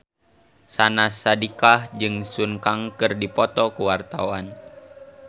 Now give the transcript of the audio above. Syahnaz Sadiqah jeung Sun Kang keur dipoto ku wartawan